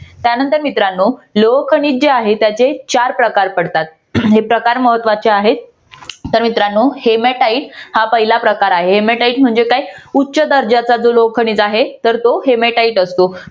त्यानंतर मित्रांनो लोह खनिज जे आहे त्याचे चार प्रकार पडतात हे प्रकार महत्वाचे आहेत तर मित्रांनो hematite हा पहिला प्रकार आहे hematite म्हणजे काय उच्च दर्जाचा जो लोह खनिज आहे तर तो hematite असतो